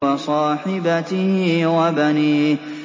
وَصَاحِبَتِهِ وَبَنِيهِ